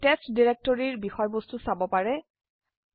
আপোনি টেস্ট ডিৰেক্টৰিৰ বিষয়বস্তু চাব পাৰে